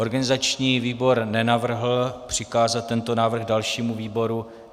Organizační výbor nenavrhl přikázat tento návrh dalšímu výboru.